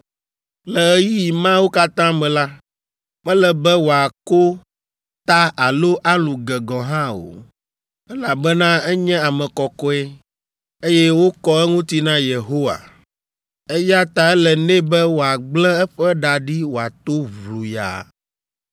“ ‘Le ɣeyiɣi mawo katã me la, mele be wòako ta alo alũ ge gɔ̃ hã o, elabena enye ame kɔkɔe, eye wokɔ eŋuti na Yehowa. Eya ta ele nɛ be wòagblẽ eƒe ɖa ɖi wòato ʋluyaa.